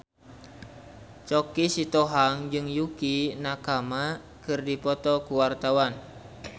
Choky Sitohang jeung Yukie Nakama keur dipoto ku wartawan